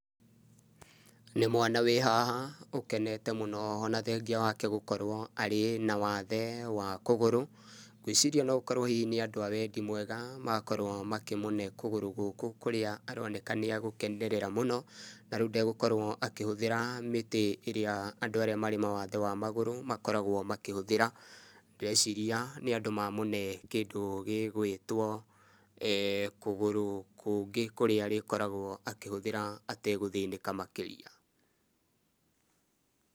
Nĩ mwana wĩ haha ũkenete mũno ona thengia wake gũkorwo arĩ na waathe wa kũgũrũ. Ngwĩciria no gũkorwo hihi nĩ andũ a wendi mwega makorwo makĩmũne kũguru gũkũ kũrĩa aroneka nĩagũkenerera mũno, na rĩu ndegũkorwo akĩhũthĩra mĩtĩ ĩrĩa andũ arĩa marĩ mawathe ma magũrũ makoragwo makĩhuthĩra. Ndĩreciria nĩ andũ mamũne kĩndũ gĩgwĩtwo kũgũrũ kũngĩ kũrĩa arĩkoragwo akĩhũthĩra ategũthĩnĩka makĩria.